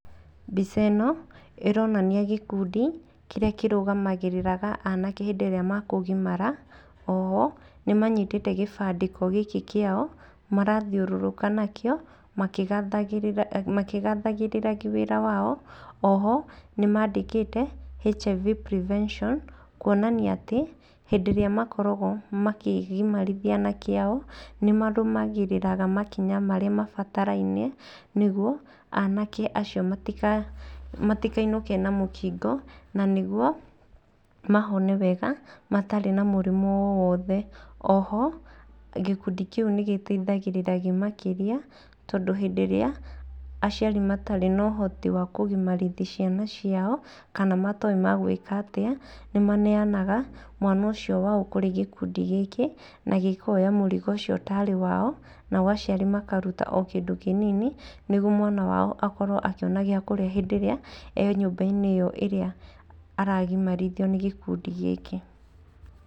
Mbica ĩno, ironania gĩkundi, kĩrĩa kĩrugamagĩrĩra aanake hĩndĩ ĩrĩa mekugimara, oho, nĩmanyitĩte gĩbandĩko gĩkĩ kĩao, marathiũrũrũka nakĩo, makĩgathagĩrĩria wĩra wao, oho nimandĩkĩte HIV Prevention, kuonania atĩ, hĩndĩ ĩrĩa makoragwo makĩgimarithia aanake ao, nimarũmagĩrĩra makinya marĩa mabatarainie nĩguo aanake acio matikainũke na mũkingo, na nĩguo mahone wega, matarĩ na mũrimũ o wothe, oho gĩkundi kĩu nĩgĩteithagiriria makĩria, tondũ hĩndĩ ĩrĩa aciari matarĩ na ũhoti wa kũgimarithia ciana ciao, kana matoĩ megwĩka atĩa, nĩmaneanaga mwana ũcio wao kũrĩ gĩkundi gĩkĩ, na gĩkoya mũrigo ũcio tarĩ wao, nao aciari makaruta o kĩndũ kĩnini, nĩguo mwana wao akorwo akĩona gĩa kũrĩa hĩndĩ ĩrĩa e nyũmba-inĩ ĩyo ĩrĩa aragimarithio nĩ gĩkundi gĩkĩ.